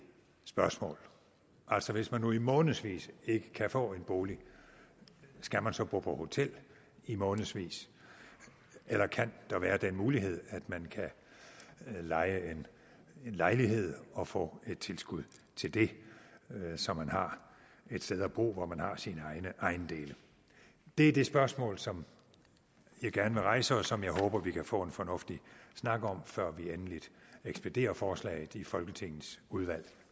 spørgsmål altså hvis man nu i månedsvis ikke kan få en bolig skal man så bo på hotel i månedsvis eller kan der være den mulighed at man kan leje en lejlighed og få tilskud til det så man har et sted at bo hvor man har sine ejendele det er det spørgsmål som jeg gerne vil rejse og som jeg håber vi kan få en fornuftig snak om før vi endeligt ekspederer forslaget i folketingets udvalg